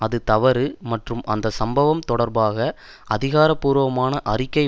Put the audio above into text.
அது தவறு மற்றும் அந்த சம்பவம் தொடர்பாக அதிகாரபூர்வமான அறிக்கை